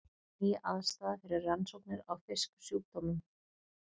Ný aðstaða fyrir rannsóknir á fisksjúkdómum